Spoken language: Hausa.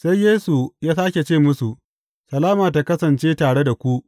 Sai Yesu ya sāke ce musu, Salama tă kasance tare da ku!